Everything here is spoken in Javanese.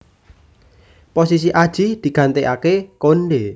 Posisi Adjie digantikaké Konde